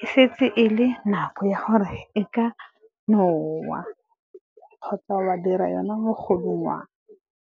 e setse e le nako ya gore e ka nowa kgotsa wa dira yona mogodungwana.